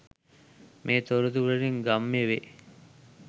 මේ තොරතුරුවලින් ගම්‍ය වේ